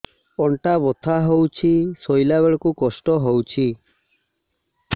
ଅଣ୍ଟା ବଥା ହଉଛି ଶୋଇଲା ବେଳେ କଷ୍ଟ ହଉଛି